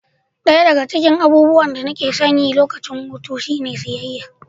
Ɗaya daga cikin abubuwan da nake son yi a lokacin hutu na shine zuwa siyayya.